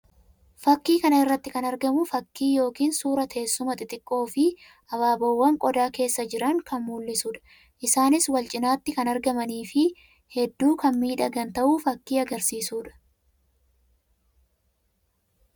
Fakkii kana irratti kan argamu fakkii yookiin suuraa teessuma xixxiqoo fi abaaboowwan qodaa keessa jiran kan mullisuu dha. Isaanis wal cinatti kan argamanii fi hedduu kan miidhagan ta'uu fakkii agarsiisuu dha.